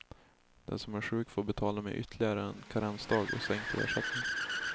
Den som är sjuk får betala med ytterligare en karensdag och sänkt ersättning.